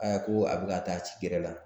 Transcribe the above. Aa ko a bɛ ka taa ci yɛrɛ la